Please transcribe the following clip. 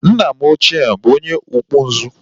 Nna m ochie bụ onye ọkpụ nzu